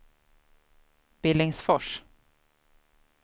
Billingsfors